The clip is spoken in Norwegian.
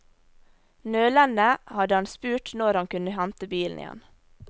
Nølende hadde han spurt når han kunne hente bilen igjen.